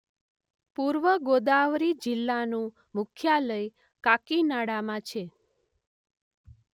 પૂર્વ ગોદાવરી જિલ્લાનું મુખ્યાલય કાકીનાડામાં છે.